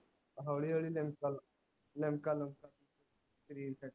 ਹੋਲੀ ਹੋਲੀ ਲਿਮਕਲ ਲਿਮਕਲ ਸਰੀਰ ਤੇ